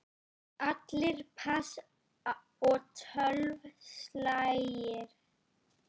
Allir pass og tólf slagir.